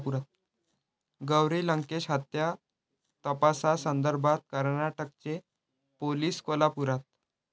गौरी लंकेश हत्या तपासासंदर्भात कर्नाटकचे पोलीस कोल्हापुरात